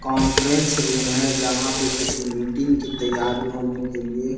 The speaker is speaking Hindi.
कॉन्फ्रेंस रूम है जहाँ पे किसी मीटिंग की तैयारी होने के लिए--